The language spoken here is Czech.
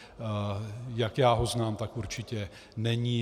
Jak já ho znám, tak určitě není.